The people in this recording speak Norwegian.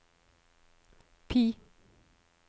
PIE